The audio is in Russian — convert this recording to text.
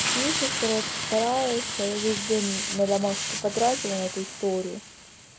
пишешь короче стараешься я весь день на домашку потратила на эту историю